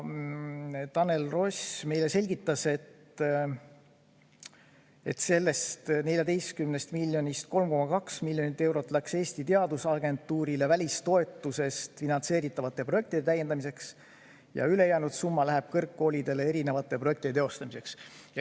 Tanel Ross selgitas, et sellest 14 miljonist 3,2 miljonit eurot läks Eesti Teadusagentuurile välistoetusest finantseeritavate projektide täiendamiseks ja ülejäänud summa läheb kõrgkoolidele erinevate projektide teostamiseks.